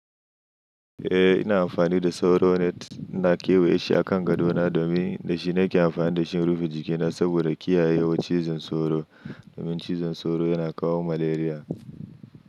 Eh ina amfani da sauro net. Ina kewaye shi a kan gadona domin da shi nake amfani da shi in rufe jikina saboda kiyaye wa cizon sauro. Domin cizon sauro yana kawo malaria.